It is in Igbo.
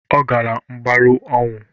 Ọ gala mbarụ ọnwụ.